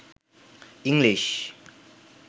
English